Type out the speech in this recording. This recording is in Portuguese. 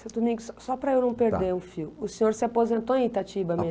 Seu Domingos, só para eu não perder o fio, o senhor se aposentou em Itatiba